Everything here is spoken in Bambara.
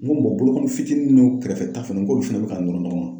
N ko bolokɔni fitini n'o kɛrɛfɛ ta fɛnɛ n k'olu fɛnɛ be ka nɔrɔ ɲɔgɔn na.